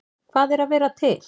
Hvað er að vera til?